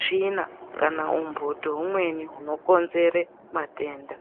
tsvina kana umbuthu umweni hwunokonzera matenda.